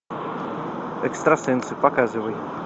экстрасенсы показывай